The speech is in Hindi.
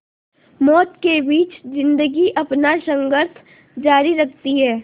मौत के बीच ज़िंदगी अपना संघर्ष जारी रखती है